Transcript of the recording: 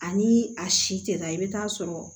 Ani a si tɛ taa i bɛ taa sɔrɔ